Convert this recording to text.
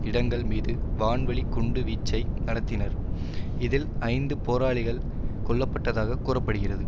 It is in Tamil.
இடங்கள் மீது வான்வழி குண்டு வீச்சை நடத்தினர் இதில் ஐந்து போராளிகள் கொல்ல பட்டதாக கூற படுகிறது